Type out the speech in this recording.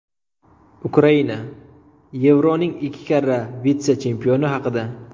Ukraina: Yevroning ikki karra vitse-chempioni haqida.